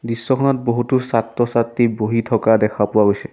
দৃশ্যখনত বহুতো ছাত্ৰ-ছাত্ৰী বহি থকা দেখা পোৱা গৈছে।